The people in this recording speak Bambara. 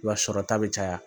I b'a sɔrɔ ta bɛ caya